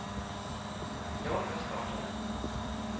Jag var med och startade den.